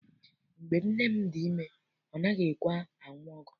Mgbe nne m dị ime, ọ naghị ekwe anụ ọgwụ.